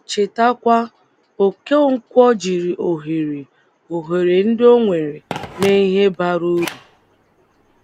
Chetakwa, Okonkwo jiri òhèrè òhèrè ndị ọ nwèrè mee Ihe bárá uru.